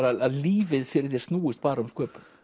að lífið fyrir þér snúist bara um sköpun